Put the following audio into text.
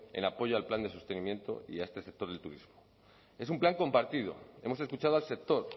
en apoyo al plan de sostenimiento y a este sector del turismo es un plan compartido hemos escuchado al sector